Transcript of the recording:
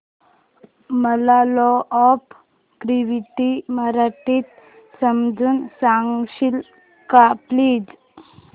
मला law of gravity मराठीत समजून सांगशील का प्लीज